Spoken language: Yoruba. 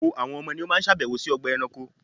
Gbogbo àwọn ọmọ ni ó máa sàbẹ̀wò sí ọgbà ẹranko.